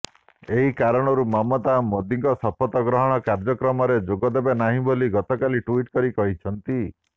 ଏହି କାରଣରୁ ମମତା ମୋଦିଙ୍କ ଶପଥ ଗ୍ରହଣ କାର୍ଯ୍ୟକ୍ରମରେ ଯୋଗଦେବେ ନାହିଁ ବୋଲି ଗତକାଲି ଟ୍ୱିଟ୍ କରି କହିଛନ୍ତି